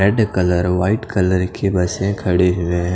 red colour white colour की बसे खड़ी हुई--